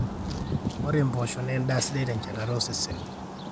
ore mpoosho naa endaa sidai tenchetata osesen